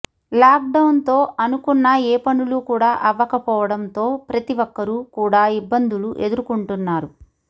lock down తో అనుకున్న ఏ పనులు కూడా అవ్వకపోవడం తో ప్రతి ఒక్కరూ కూడా ఇబ్బందులు ఎదురుకొంటున్నారు